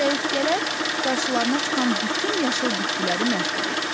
Çəyirtkələr qarşılarına çıxan bütün yaşıl bitkiləri məhv edir.